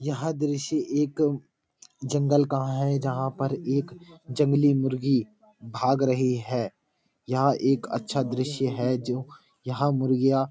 यह दृश्य एक जंगल का है जहां पर एक जंगली मुर्गी भाग रही है यहाँ एक अच्छा दृश्य है जो यहाँ मुर्गियाँ --